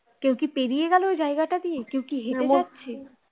কেউ কি পেরিয়ে গেলো ওই জায়গাটা দিয়ে কেউ কি হেটে যাচ্ছে